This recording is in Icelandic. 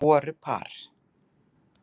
Voru par